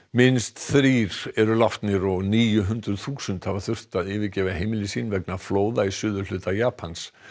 minnst þrír eru látnir og níu hundruð þúsund hafa þurft að yfirgefa heimili sín vegna flóða í suðurhluta Japans